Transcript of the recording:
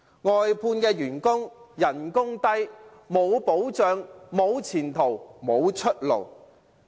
外判員工工資低、沒有保障、沒有前途、沒有出路。